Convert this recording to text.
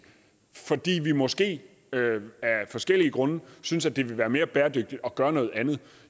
fordi vi måske af forskellige grunde synes at det ville være mere bæredygtigt at gøre noget andet